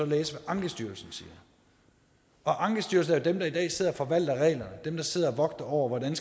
læse hvad ankestyrelsen siger ankestyrelsen er jo dem der i dag sidder og forvalter reglerne dem der sidder og vogter over hvordan